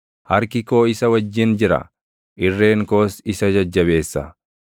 Harki koo isa wajjin jira; irreen koos isa jajjabeessa.